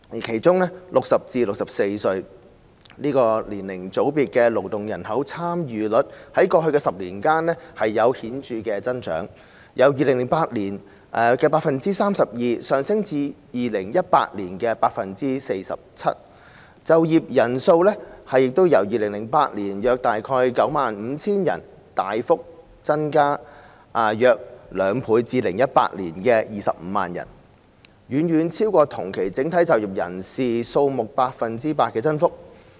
其中 ，60 歲至64歲這個年齡組別的勞動人口參與率在過去10年顯著增長，由2008年的 32% 上升至2018年的 47%； 就業人數亦由2008年的約 95,000 人大幅增加近兩倍至2018年的 250,000 人，遠超整體就業人數同期的 8% 增幅。